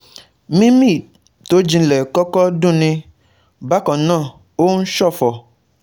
Mímí tó jinlẹ̀ kọ́kọ́ dunni, bákan náà ó ń ṣọ̀fọ̀